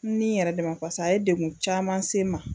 N ni yɛrɛ de ma paseke a ye degun caman se n ma